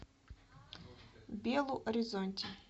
белу оризонти